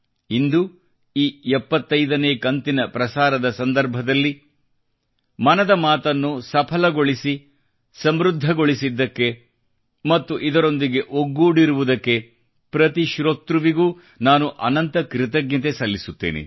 ಇಂದು ಈ 75 ನೇ ಕಂತಿನ ಪ್ರಸಾರದ ಸಂದರ್ಭದಲ್ಲಿ ಮನದ ಮಾತನ್ನು ಸಫಲಗೊಳಿಸಿ ಸಮೃದ್ಧಗೊಳಿಸಿದ್ದಕ್ಕೆ ಮತ್ತು ಇದರೊಂದಿಗೆ ಒಗ್ಗೂಡಿರುವುದಕ್ಕೆ ಪ್ರತಿ ಶ್ರೋತೃವಿಗೂ ನಾನು ಅನಂತ ಕೃತಜ್ಞತೆ ಸಲ್ಲಿಸುತ್ತೇನೆ